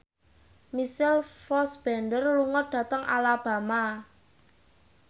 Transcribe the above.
Michael Fassbender lunga dhateng Alabama